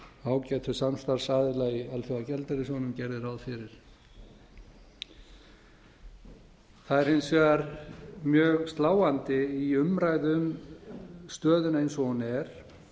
ágætu samstarfsaðila í alþjóðagjaldeyrissjóðnum gerir ráð fyrir það er hins vegar mjög sláandi í umræðu um stöðuna eins og hún er